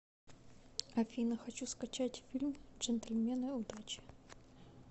афина хочу скачать фильм джентльмены удачи